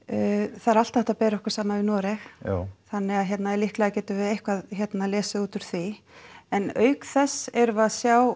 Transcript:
það er alltaf hægt að bera okkur saman við Noreg já þannig að líklega getum við eitthvað lesið út úr því en auk þess erum við að sjá